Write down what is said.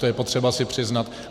To je potřeba si přiznat.